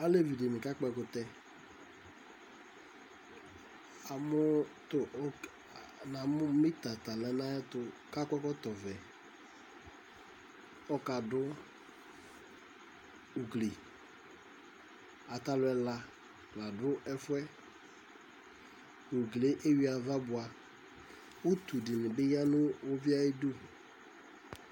Alévi dini ka kpɔ ɛkutɛ na mu mɛta tala na ayɛtu ka kɔ ɛkɔtɔ vɛ kɔ ka du ugli atalu ɛla la du ɛfue uglié éwui ava boa utu dini bi ya nu uvié ayi du